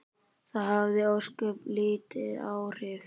Það hafði ósköp lítil áhrif.